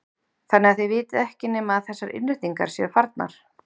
Þannig að þið vitið ekki nema að þessar innréttingar séu farnar?